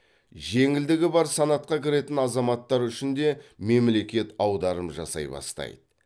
жеңілдігі бар санатқа кіретін азаматтар үшін де мемлекет аударым жасай бастайды